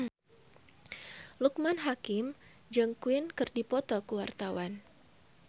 Loekman Hakim jeung Queen keur dipoto ku wartawan